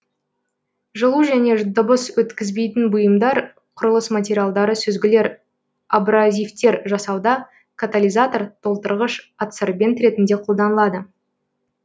жылу және дыбыс өткізбейтін бұйымдар құрылыс материалдары сүзгілер абразивтер жасауда катализатор толтырғыш адсорбент ретінде қолданылады